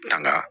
Nana